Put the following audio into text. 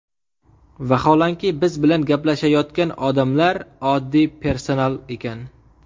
Vaholanki, biz bilan gaplashayotgan odamlar oddiy personal ekan.